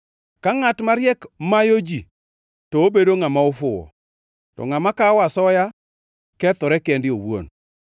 Ka ngʼat mariek mayo ji to obedo ngʼama ofuwo, to ngʼama kawo asoya kethore kende owuon.